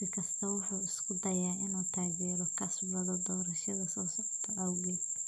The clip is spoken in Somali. Siyaasi kastaa wuxuu isku dayaa inuu taageero kasbado doorashada soo socota awgeed.